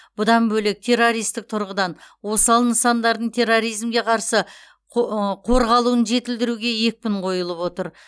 бұдан бөлек террористік тұрғыдан осал нысандардың терроризмге қарсы қо ы қорғалуын жетілдіруге екпін қойылып отыр